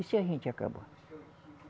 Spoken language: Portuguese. E se a gente acabar?